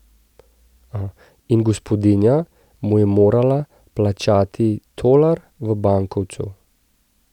In gospodinja mu je morala plačati tolar v bankovcu.